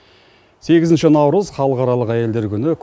сегізінші наурыз халықаралық әйелдер күні